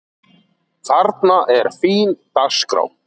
Þarna er fín dagskrá.